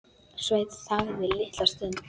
Sveinn þagði litla stund.